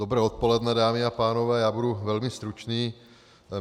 Dobré odpoledne, dámy a pánové, já budu velmi stručný.